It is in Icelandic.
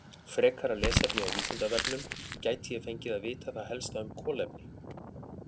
Frekara lesefni á Vísindavefnum: Gæti ég fengið að vita það helsta um kolefni?